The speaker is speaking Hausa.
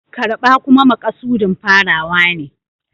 Karɓa kuma makasudin farawa ne.